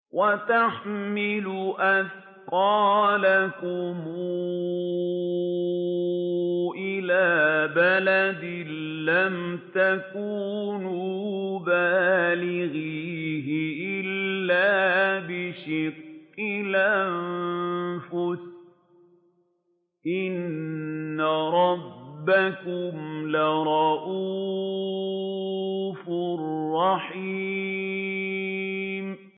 وَتَحْمِلُ أَثْقَالَكُمْ إِلَىٰ بَلَدٍ لَّمْ تَكُونُوا بَالِغِيهِ إِلَّا بِشِقِّ الْأَنفُسِ ۚ إِنَّ رَبَّكُمْ لَرَءُوفٌ رَّحِيمٌ